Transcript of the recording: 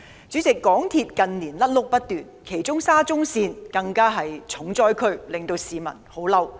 主席，港鐵公司近年"甩轆"不斷，其中沙田至中環線更是"重災區"，令市民異常憤怒。